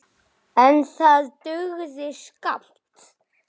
En það dugði skammt.